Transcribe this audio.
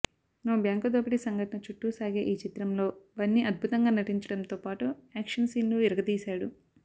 ఓ bank దోపిడీ సంఘటన చుట్టూ సాగే ఈ చిత్రంలో బన్నీ అద్భుతంగా నటించడంతో పాటు యాక్షన్ సీన్లు ఇరగదీశాడు